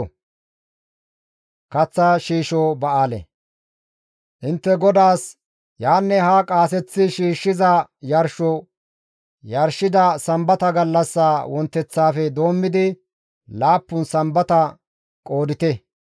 «Intte GODAAS yaanne haa qaaseththi shiishshiza yarsho yarshida Sambata gallassa wonteththafe doommidi laappun Sambata qoodite;